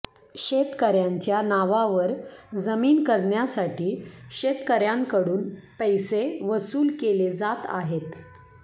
शेतकऱयांच्या नावावर जमीन करण्यासाठी शेतकऱयांकडून पैसे वसूल केले जात आहेत